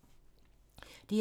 DR2